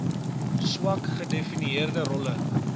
swak gedefinieerde rolle